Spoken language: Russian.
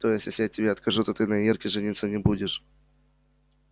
то есть если я тебе откажу то ты на ирке жениться не будешь